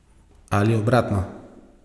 Ali obratno.